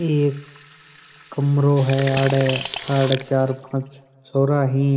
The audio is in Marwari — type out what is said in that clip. एक कमरों है आड़ आड़ चार पांच छोरा ही